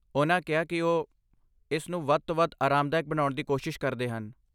ਉਨ੍ਹਾਂ ਕਿਹਾ ਕਿ ਉਹ ਇਸ ਨੂੰ ਵੱਧ ਤੋਂ ਵੱਧ ਆਰਾਮਦਾਇਕ ਬਣਾਉਣ ਦੀ ਕੋਸ਼ਿਸ਼ ਕਰਦੇ ਹਨ।